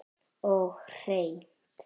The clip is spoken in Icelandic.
Og hreint.